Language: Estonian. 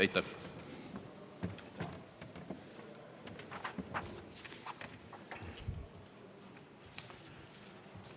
Aitäh!